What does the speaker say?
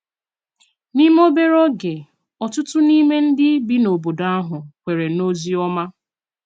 N’ime obere oge, ọ̀tụ̀tụ̀ n’ime ndị bi n’obodo ahụ kwèrè n’ozi ọma.